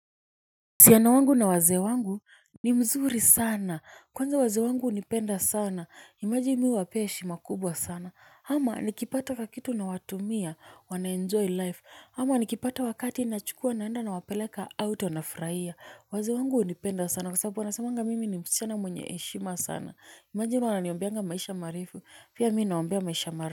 Uhusiano wangu na wazee wangu ni mzuri sana kwanza wazee wangu hunipenda sana image mimi huwapea heshima kubwa sana ama nikipata kakitu nawatumia wanaenjoy life ama nikipata wakati nachukua naenda nawapeleka out wanafurahia waze wangu hunipenda sana kwa sababu wanasemanga mimi ni msichana mwenye heshima sana imagine wananiombeanga maisha marefu pia mimi nawaombea maisha marefu.